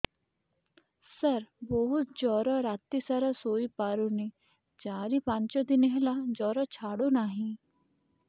ସାର ବହୁତ ଜର ରାତି ସାରା ଶୋଇପାରୁନି ଚାରି ପାଞ୍ଚ ଦିନ ହେଲା ଜର ଛାଡ଼ୁ ନାହିଁ